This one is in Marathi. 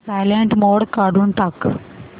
सायलेंट मोड काढून टाक